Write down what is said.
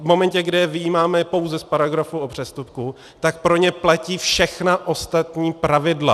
V momentě, kdy je vyjímáme pouze z paragrafu o přestupku, tak pro ně platí všechna ostatní pravidla.